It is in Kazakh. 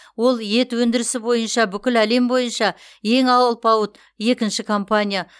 ол ет өндірісі бойынша бүкіл әлем бойынша ең алпауыт екінші компания